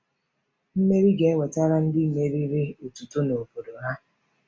Mmeri ga-ewetara ndị meriri otuto na obodo ha.